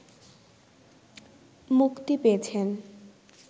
মুক্তি পেয়েছেন